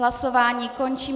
Hlasování končím.